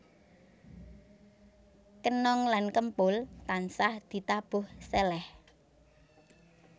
Kenong lan kempul tansah ditabuh seleh